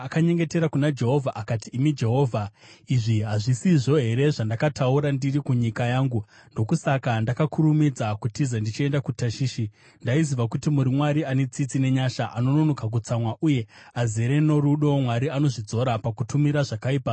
Akanyengetera kuna Jehovha akati, “Imi Jehovha, izvi hazvisizvo here zvandakataura ndiri kunyika yangu? Ndokusaka ndakakurumidza kutiza ndichienda kuTashishi? Ndaiziva kuti muri Mwari ane tsitsi nenyasha, anononoka kutsamwa uye azere norudo, Mwari anozvidzora pakutumira zvakaipa.